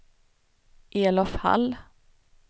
Elof Hall